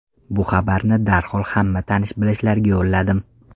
Bu xabarni darhol hamma tanish-bilishlarga yo‘lladim.